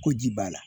Ko ji b'a la